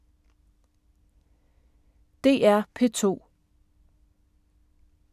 DR P2